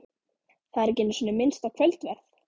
Það er ekki einu sinni minnst á kvöldverð.